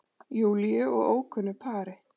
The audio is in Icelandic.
Júlíu og ókunnu pari.